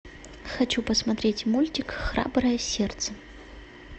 хочу посмотреть мультик храброе сердце